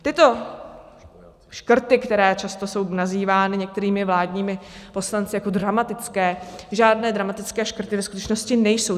Tyto škrty, které často jsou nazývány některými vládními poslanci jako dramatické, žádné dramatické škrty ve skutečnosti nejsou.